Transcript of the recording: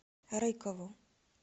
рыкову